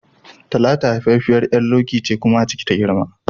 Talatu haifaffiyar ƴar Loki ce kuma a ciki ta girma